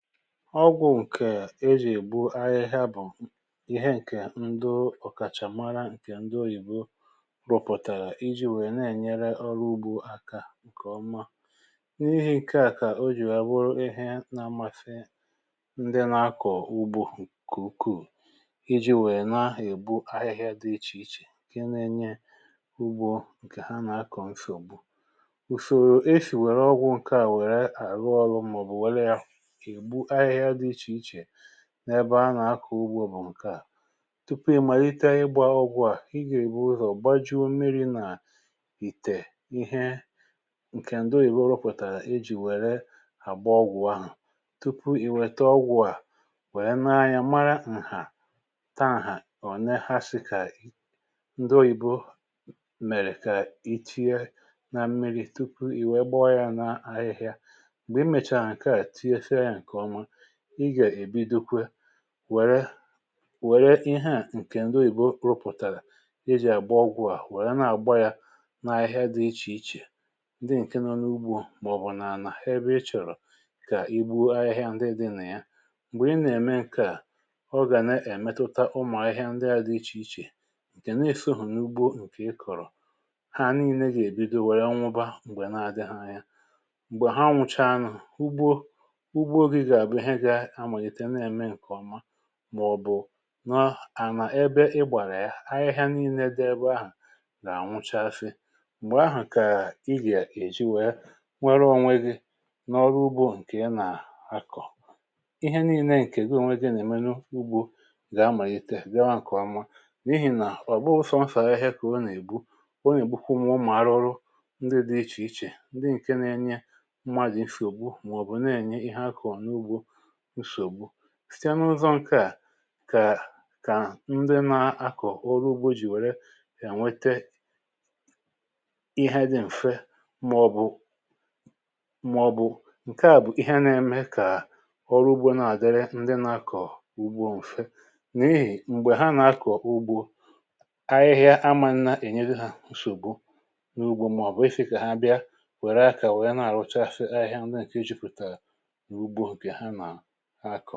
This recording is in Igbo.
Ọgwụ̀ ǹkè a ejì ègbu ahịhịa bụ̀ ihe ǹkè ndo ọ̀kàchà mara ǹkè ndo òyìbo rụ̀pụ̀tàrà, iji̇ wèe na-ènyere ọrụ ugbȯ aka ǹkè ọma. N’ihi ǹke à kà o jì àbụrụ ihe nȧ-amȧfė ndị na-akọ̀ ugbu kè ukwuù, iji̇ wèe na-èbu ahịhịa dị ichè ichè ǹkè na-enye ugbo ǹkè ha nà-akọ̀ mfògbu. Ụsòrò e sì wèrè ọgwụ̀ ǹkè a wèrè àrụ ọrụ̇ màọbụ̀ wèrè ya egbụ ahịhịa dị ịche ịche n’ebe a nà-akọ̀ ugbo bụ̀ ǹke à. Tupu ì màlite ịgbȧ ọgwụ̇ à i gà-èbu ụzọ̀ baaju̇u̇ mmiri̇ nà ìtè ihe ǹkè ndị oyìbo rọpụ̀tàrà ejì wère àgba ọgwụ̀ ahụ̀, tupu ì wèta ọgwụ̀ à wère n’anya mara ǹhà ta ǹhà, o ne ha si kà ndị oyìbo mèrè kà i tinye nà mmiri̇ tupu ì wee gbọọ ya n’ahịhịa, mgbe ịmecha nke a tịnyechè ya nke ọma, ị ga ebidọ wère wère ihẹ à ǹkè ǹdowe ìbo rụpụ̀tàrà e jì àgba gwuo à wèe na-àgba yȧ na ahịhịa dị ichè ichè ndị ǹke nọ n’ugbo, mà ọ̀bụ̀ naàlà ha bụ̇ ichòrò kà igbuo ahịhịa ndị dị nà ya, m̀gbè ị nà-ème ǹkà ọgà nà-èmetuta ụmụ̀ ahịhịa ndị dị ichè ichè ǹkè na-esoghù n’ugbo ǹkè ị kọ̀rọ̀, ha nii̇ne gà-èbido wère ọnwụba m̀gbè na adị ha ya. Mgbe ha nwụchaa ụgbọ-ụgbọ gị ga abụ ihe gȧ-amàghìtè na-ème ǹkè ọma, màọ̀bụ̀ nọ ànà ebe ị gbàrà ya ahịhịa n’ile dị ebe ahụ̀ gà-ànwụchafị, m̀gbè ahụ̀ kà ị gà-èji wee nwere onwe gị n’ọrụ ugbo ǹkè ya nà-akọ̀. ihe niile ǹkè goo nwegị nà-èmene ugbȯ gȧ-amàghite gȧ-ọ̀mà, n’ihì nà ọ̀kpọsọnsà ahịhịa kà o nà-ègbu o nà-èkpukwu mụ mà arụrụ ndị dị ichè ichè, ndị ǹke na-enye mmadụ̀ nsògbu, màọ̀bụ̀ na-ènye ihe akọ̀ n’ugbȯ ùsògbu. si n’ụzọ ǹkèa kà ndị na-akọ̀ ọrụ ugbȯ jì wère yà nwete ihe dị̀ m̀fe màọbụ màọbụ̀ ǹkèa bụ̀ ihe na-eme kà ọrụ ugbȯ na-àdịrị ndị nȧ-akọ̀ ugbo m̀fe, n’ihì m̀gbè ha nà-akọ̀ ugbo ahịhịa amȧ nnȧ-ènye ha òsògbu n’ugbȯ, màọbụ isi̇ kà ha bịa wère akȧ wèe na-àrụcha ahịhịa ndị nà-èke e jùpụ̀tà ha kọ̀.